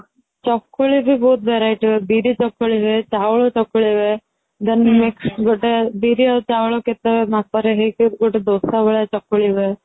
ଚକୁଳି ବି ବହୁତ variety ର ହୁଏ ବିରି ଚକୁଳି ହୁଏ ଚାଉଳ ଚକୁଳି ହୁଏ then ବିରି ଆଉ ଚାଉଳ କେତେ ଗୋଟେ ମାପ ରେ ହେଇ କି ଦୋସା ଭଳିଆ ଚକୁଳି ହୁଏ